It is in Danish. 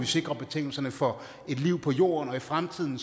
sikre betingelserne for et liv på jorden i fremtiden